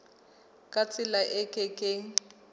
ka tsela e ke keng